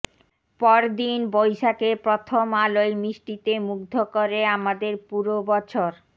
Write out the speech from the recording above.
পরদিন বৈশাখের প্রথম আলোয় মিষ্টিতে মুগ্ধ করে আমাদের পুরো বছর